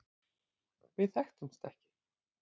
Við þekktumst ekki.